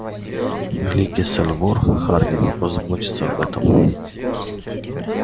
великий сальвор хардин позаботиться об этом